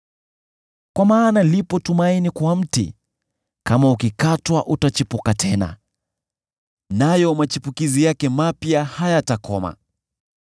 “Kwa maana lipo tumaini kwa mti; kama ukikatwa utachipuka tena, nayo machipukizi yake mapya hayatakoma.